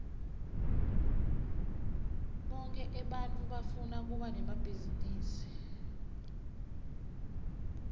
bonkhe ebantfu bafuna kuba nemabhizinisi